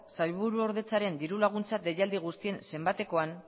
sailburuordetzaren diru laguntza deialdia guztien zenbatekoan